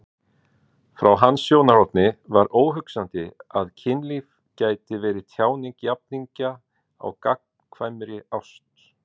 Frá hans sjónarhorni var óhugsandi að kynlíf gæti verið tjáning jafningja á gagnkvæmri ást.